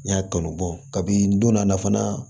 N y'a kanu bɔ kabin'i donna a la fana